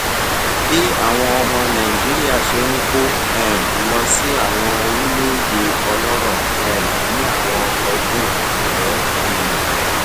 bí àwọn ọmọ nàìjíríà ṣe ń kó um lọ sí àwọn orílèèdè ọlórò um ní àwọn ọdún àìpẹ um